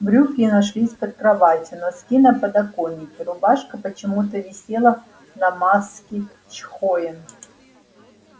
брюки нашлись под кроватью носки на подоконике рубашка почему-то висела на маске чхоен